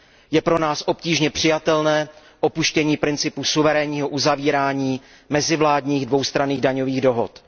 Je pro nás obtížně přijatelné opuštění principu suverénního uzavírání mezivládních dvoustranných daňových dohod.